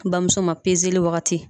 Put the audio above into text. N bamuso ma wagati.